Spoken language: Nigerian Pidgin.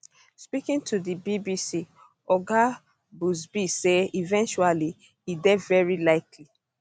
speaking to di bbc oga buzbee say eventuality e dey veri likely